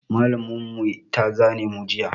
Mallam mu ta zane mu juya